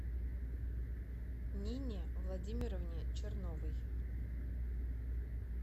нине владимировне черновой